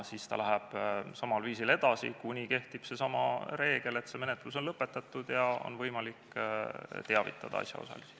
Siis see läheb samal viisil edasi, kuni hakkab kehtima seesama reegel, et menetlus on lõpetatud ja on võimalik teavitada asjaosalisi.